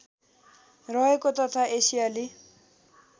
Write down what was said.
रहेको तथा एसियाली